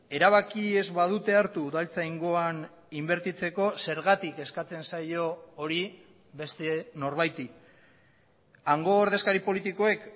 erabaki ez badute hartu udaltzaingoan inbertitzeko zergatik eskatzen zaio hori beste norbaiti hango ordezkari politikoek